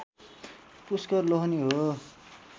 पुष्कर लोहनी हो